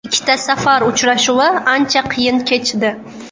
Ikkita safar uchrashuvi ancha qiyin kechdi.